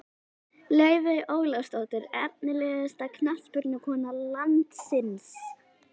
Laufey Ólafsdóttir Efnilegasta knattspyrnukona landsins?